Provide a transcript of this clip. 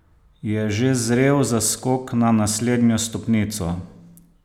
Je že zrel za skok na naslednjo stopnico?